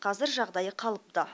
қазір жағдайы қалыпты